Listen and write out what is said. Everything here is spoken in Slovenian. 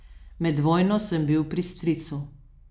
Med vojno sem bil pri stricu.